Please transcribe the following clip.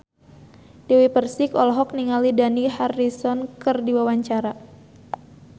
Dewi Persik olohok ningali Dani Harrison keur diwawancara